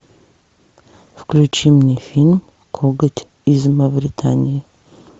включи мне фильм коготь из мавритании